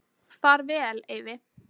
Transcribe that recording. Far vel, Eyvi.